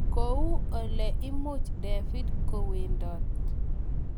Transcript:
Kou ole imuch David kowendot.